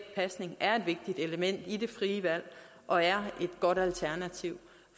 pasning er et vigtigt element i det frie valg og er et godt alternativ